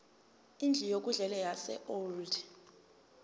indlu yokudlela yaseold